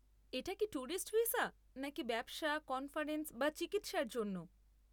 এটা কি tourist visa নাকি ব্যবসা, কনফারেন্স বা চিকিৎসার জন্য?